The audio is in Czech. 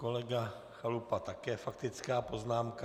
Kolega Chalupa - také faktická poznámka.